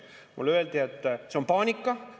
Mulle öeldi, et see on paanika.